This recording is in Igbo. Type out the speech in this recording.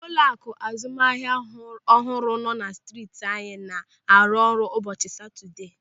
Ụlọaku azụmahịa ọhụrụ nọ na steeti anyị na-arụ ọrụ n'ụbọchị Satọdee.